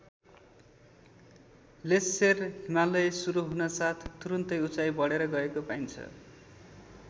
Lesser Himalaya सुरू हुनासाथ तुरुन्तै उचाइ बढेर गएको पाइन्छ।